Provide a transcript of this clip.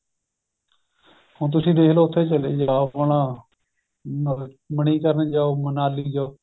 ਹੁਣ ਤੁਸੀਂ ਦੇਖਲੋ ਉਥੇ ਚਲੇ ਜਾਵੋ ਆਪਣਾ ਮਨੀਕਰਣ ਜਾਹੋ ਮਨਾਲੀ ਜਾਹੋ